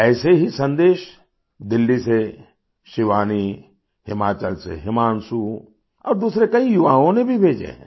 ऐसे ही सन्देश दिल्ली से शिवानी हिमाचल से हिमांशु औरदूसरे कई युवाओं ने भी भेजे हैं